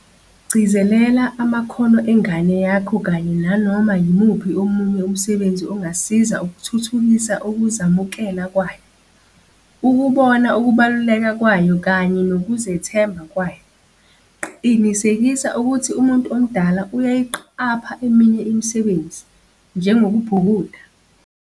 Gcizelela amakhono engane yakho kanye nanoma yimuphi omunye umsebenzi ongasiza ukuthuthukisa ukuzamukela kwayo, ukubona ukubaluleka kwayo kanye nokuzethemba kwayo. Qinisekisa ukuthi umuntu omdala uyayiqapha eminye imisebenzi, njengokubhukuda.